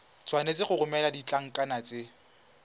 tshwanetse go romela ditlankana tse